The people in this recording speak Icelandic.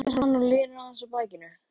segir hann og linar aðeins á takinu.